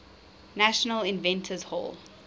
national inventors hall